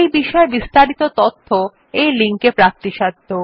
এই বিষয় বিস্তারিত তথ্য এই লিঙ্ক এ প্রাপ্তিসাধ্য